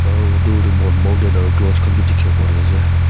aro dur tey mon mountain aro cloud khan b dikewo parey ase.